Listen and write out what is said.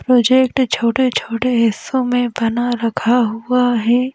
Project छोटे छोटे हिस्सों में बना रखा हुआ है।